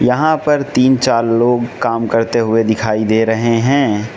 यहां पर तीन चार लोग काम करते हुए दिखाई दे रहे है।